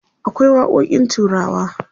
akwai waƙoƙin turawa